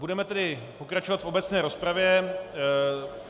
Budeme tedy pokračovat v obecné rozpravě.